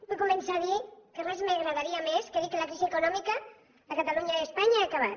vull començar a dir que res m’agradaria més que dir que la crisi econòmica a catalunya i a espanya s’ha acabat